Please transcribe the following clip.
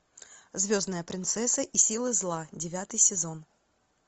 звездная принцесса и силы зла девятый сезон